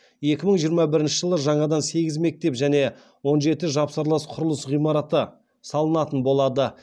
екі мың жиырма бірінші жылы жаңадан сегіз мектеп және он жеті жапсарлас құрылыс ғимараты салынатын болады